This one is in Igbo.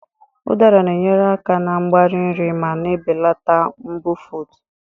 Udara na-enyere aka na mgbari nri ma na-ebelata mbufụt.